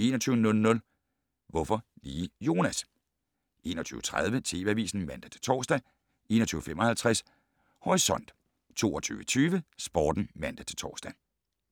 21:00: Hvorfor lige Jonas? 21:30: TV Avisen (man-tor) 21:55: Horisont 22:20: Sporten (man-tor)